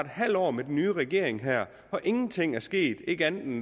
halvt år med den nye regering og ingenting er sket ikke andet end